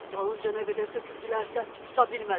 Dalınca nə qədər töküldülərsə, tuta bilmədilər.